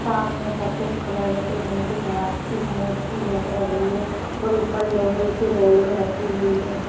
सामने सफ़ेद कलर की नंदी महाराज की मूर्ति लग रही है और ऊपर लोहे की रेलिंग रखी हुई है।